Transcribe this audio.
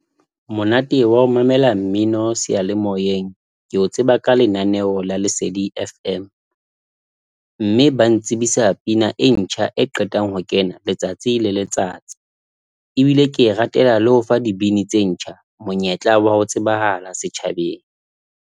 Monate wa ho mamela mmino seyalemoyeng ke o tseba ka lenaneo la Lesedi FM mme ba ntsibisa pina e ntjha e qetang ho kena letsatsi le letsatsi, ebile ke e ratela le ho fa dibini tse ntjha monyetla wa ho tsebahala setjhabeng.